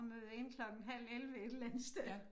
At møde ind klokken halv 11 et eller andet sted